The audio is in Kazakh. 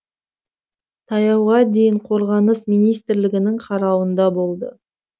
таяуға дейін қорғаныс министрлігінің қарауында болды